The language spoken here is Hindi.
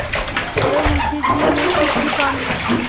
अतएव मुंशी जी ने सिर झुका लिया